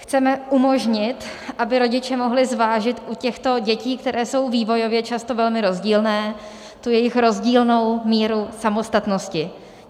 Chceme umožnit, aby rodiče mohli zvážit u těchto dětí, které jsou vývojově často velmi rozdílné, tu jejich rozdílnou míru samostatnosti.